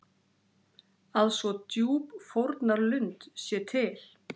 Að svo djúp fórnarlund sé til?